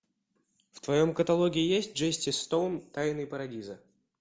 в твоем каталоге есть джесси стоун тайны парадиза